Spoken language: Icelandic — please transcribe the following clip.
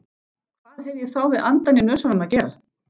Hvað hefði ég þá við andann í nösunum að gera?